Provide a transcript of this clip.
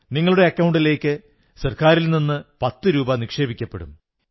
നിങ്ങളുടെ അക്കൌണ്ടിലേക്ക് സർക്കാരിൽ നിന്ന് പത്തു രൂപ നിക്ഷേപിക്കപ്പെടും